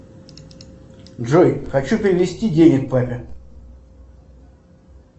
джой хочу перевести денег папе